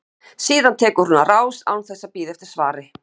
Síðan tekur hún á rás án þess að bíða eftir svari.